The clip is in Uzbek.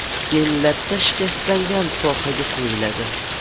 Keyin latta shikastlangan sohaga qo‘yiladi.